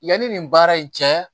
Yanni nin baara in cɛ